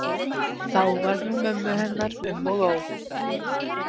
Þá var nú mömmu hennar um og ó.